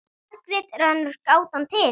Margrét er önnur gátan til.